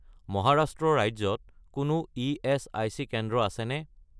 মহাৰাষ্ট্ৰ ৰাজ্যত কোনো ইএচআইচি কেন্দ্ৰ আছেনে?